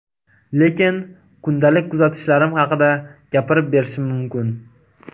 Lekin kundalik kuzatishlarim haqida gapirib berishim mumkin.